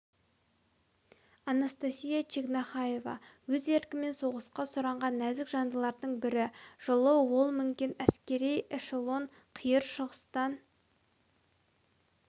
анастасия чегнахаева өз еркімен соғысқа сұранған нәзік жандылардың бірі жылы ол мінген әскери эшелон қиыр шығыстан